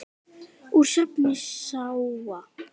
Úr safni SÁA.